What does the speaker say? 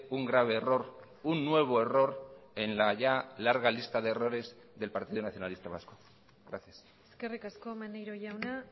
un grave error un nuevo error en la ya larga lista de errores del partido nacionalista vasco gracias eskerrik asko maneiro jauna